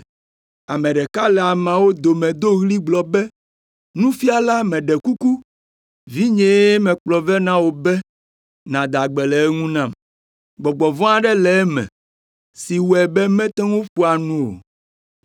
Ame ɖeka le ameawo dome do ɣli gblɔ be, “Nufiala meɖe kuku, vinyee mekplɔ vɛ na wò be nàda gbe le eŋu nam. Gbɔgbɔ vɔ̃ aɖe le eme si wɔe be mete ŋu ƒoa nu o.